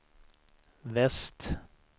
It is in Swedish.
väst